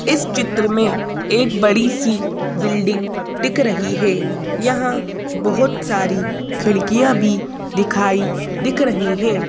इस चित्र में एक बड़ी सी बिल्डिंग दिख रही है यहाँ बहुत सारी खिड़कियाँ भी दिखाई दिख रही हैं।